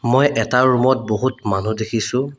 মই এটা ৰূম ত বহুত মানুহ দেখিছোঁ।